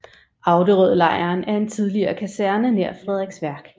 Auderødlejren er en tidligere kaserne nær Frederiksværk